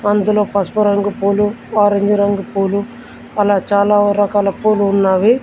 అందులో పసుపు రంగు పూలు ఆరెంజ్ రంగు పూలు అలా చాలా రకాల పూలు ఉన్నావి.